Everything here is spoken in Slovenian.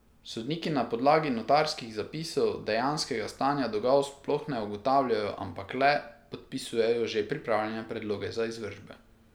Sodniki na podlagi notarskih zapisov dejanskega stanja dolgov sploh ne ugotavljajo, ampak le podpisujejo že pripravljene predloge za izvršbe.